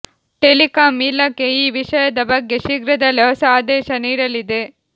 telecom ಇಲಾಖೆ ಈ ವಿಷಯದ ಬಗ್ಗೆ ಶೀಘ್ರದಲ್ಲೇ ಹೊಸ ಆದೇಶ ನೀಡಲಿದೆ